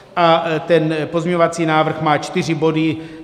A ten pozměňovací návrh má čtyři body.